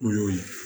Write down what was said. O y'o ye